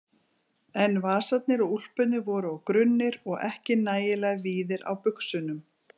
En vasarnir á úlpunni voru of grunnir og ekki nægilega víðir á buxunum.